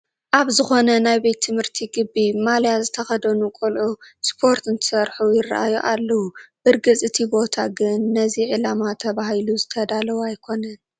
ኣብ ዝኾነ ናይ ቤት ትምህርቲ ግቢ ማልያ ዝተኸደኑ ቆልዑ ስፖርቲ እንትሰርሑ ይርአዩ ኣለዉ፡፡ ብርግፅ እቲ ቦታ ግን ነዚ ዕላማ ተባሂሉ ዝተዳለወ ኣይኮነን፡፡